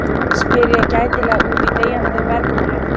spyr ég gætilega út í deyjandi bergmálið.